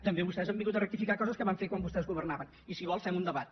també vostès han hagut de rectificar coses que van fer quan vostès governaven i si vol fem un debat